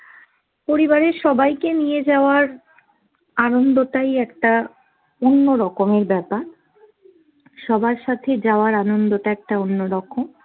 পরিবারের সবাইকে নিয়ে যাওয়ার আনন্দটাই একটা অন্য রকমের ব্যাপার। সবার সাথে যাওয়ার আনন্দটা একটা অন্য রকম।